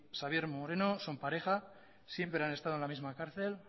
xabier moreno son pareja siempre han estado en la misma cárcel